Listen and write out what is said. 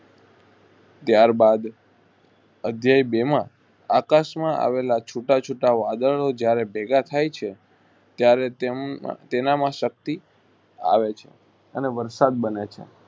ત્યાર બાદ અધ્યેય બેમાં એક્સ માં આવેલા છુટા~છુટા વાદળો જયારે ભેગા થાય છે ત્યારે તેમ~તેનામાં શક્તિ આવે છે. અને વરસાદ બને છે.